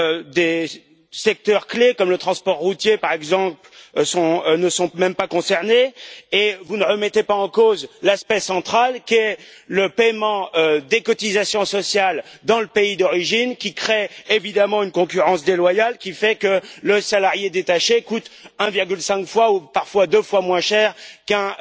Des secteurs clés, comme le transport routier, par exemple, ne sont même pas concernés, et vous ne remettez pas en cause l'aspect central que revêt le paiement des cotisations sociales dans le pays d'origine, qui crée évidemment une concurrence déloyale, et fait que le salarié détaché coûte 1,5 fois ou, parfois, 2 fois moins cher qu'un